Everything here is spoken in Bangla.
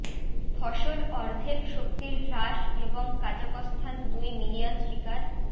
ফসল অর্ধেক শক্তির হ্রাস এবং কাজাকস্থান দুই মিলিয়ন শিকার